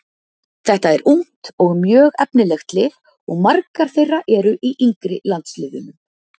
Þetta er ungt og mjög efnilegt lið og margar þeirra eru í yngri landsliðunum.